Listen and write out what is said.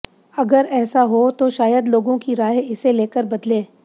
अगर ऐसा हो तो शायद लोगों की राय इसे लेकर बदले